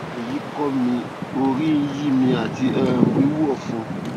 oyi ko mi orí ń yí mi àti um wíwú ọfun